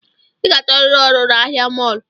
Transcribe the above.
I ga-achọriri ọrụ na ahia mọlụ